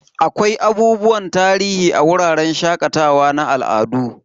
Akwai abubuwan tarihi a wuraren shakatawa na al'adu.